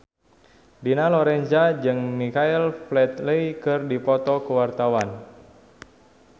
Dina Lorenza jeung Michael Flatley keur dipoto ku wartawan